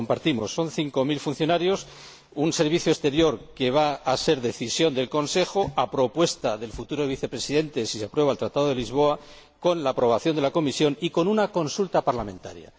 Se trata de cinco mil funcionarios, en un Servicio Europeo de Acción Exterior que va a ser decisión del Consejo, a propuesta del futuro Vicepresidente, si se aprueba el Tratado de Lisboa, con la aprobación de la Comisión y tras una consulta parlamentaria.